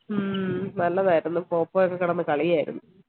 ഹും നല്ലതായിരുന്നു പൊപോയൊക്കെ കിടന്ന് കളിയായിരുന്നു